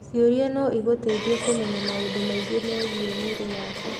Ciũria no igũteithie kũmenya maũndũ maingĩ megiĩ mwĩrĩ waku.